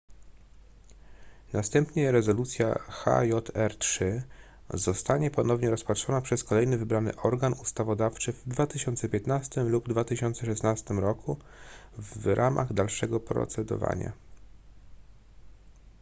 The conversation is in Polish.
następnie rezolucja hjr-3 zostanie ponownie rozpatrzona przez kolejny wybrany organ ustawodawczy w 2015 lub 2016 roku w ramach dalszego procedowania